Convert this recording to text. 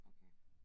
Okay